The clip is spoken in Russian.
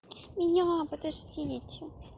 меня подождите